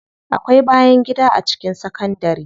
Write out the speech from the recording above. Akwai bayangida a cikin sakandari.